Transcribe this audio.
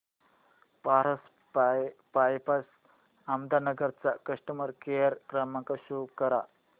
Paras pipes Ahmednagar चा customer care क्रमांक show करा